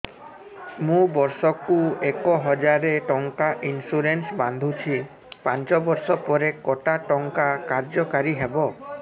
ମୁ ବର୍ଷ କୁ ଏକ ହଜାରେ ଟଙ୍କା ଇନ୍ସୁରେନ୍ସ ବାନ୍ଧୁଛି ପାଞ୍ଚ ବର୍ଷ ପରେ କଟା ଟଙ୍କା କାର୍ଯ୍ୟ କାରି ହେବ